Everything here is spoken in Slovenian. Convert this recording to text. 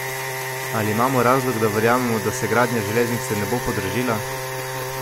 Ali imamo razlog, da verjamemo, da se gradnja železnice ne bo podražila?